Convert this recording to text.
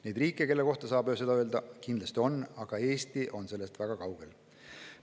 Neid riike, mille kohta saab seda öelda, kindlasti on, aga Eesti on sellest väga kaugel.